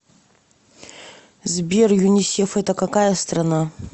сбер юнисеф это какая страна